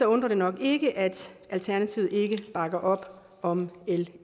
undrer det nok ikke at alternativet ikke bakker op om l